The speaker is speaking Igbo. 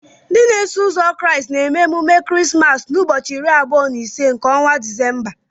Ndị n'eso uzo Kraịst na-eme emume Christmas na ụbọchị iri abụo na ise nke ọnwa December